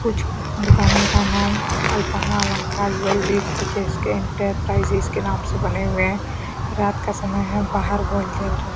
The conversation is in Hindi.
कुछ दुकाने का नाम अल्पना अलंकार ज्वेलरीज कुछ एस_के इंटरप्राइजेस के नाम से बने हुए हैं रात का समय है बाहर बल जल रहा है।